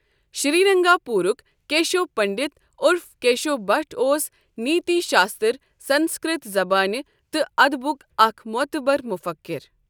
شرینگار پورُک کیشو پٔنڈت عرف کیشو بھٹ اوس نیتی شاستر سنسکرٛت زبانہ تہٕ ادبک اکھ موتبر مفکِر ۔